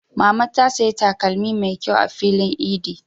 Mama ta saya takalmi mai ƙyau a filin idi.